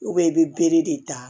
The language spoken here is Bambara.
i bɛ bere de ta